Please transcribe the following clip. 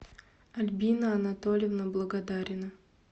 альбина анатольевна благодарина